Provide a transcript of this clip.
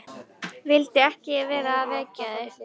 Vildi ekki vera að vekja þig.